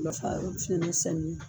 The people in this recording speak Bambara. Ma fa yɔrɔ